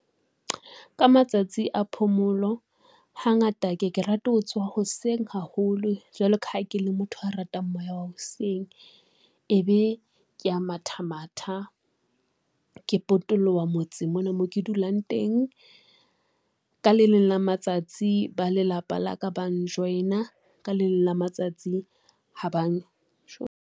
Ka matsatsi a phomolo hangata ke ke rate ho tsoha hoseng haholo jwalo ka ha ke le motho a ratang moya wa hoseng. Ebe ke a mathamatha, ke potoloha motseng mona mo ke dulang teng. Ka le leng la matsatsi ba lelapa la ka bang join-a ka leng la matsatsi ha bang .